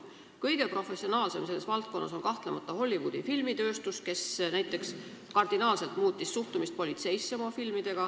Kõige professionaalsem selles valdkonnas on kahtlemata Hollywoodi filmitööstus, kes näiteks oma filmidega on kardinaalselt muutnud suhtumist politseisse.